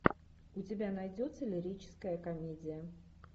у тебя найдется лирическая комедия